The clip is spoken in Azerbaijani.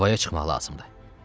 Havaya çıxmaq lazımdır.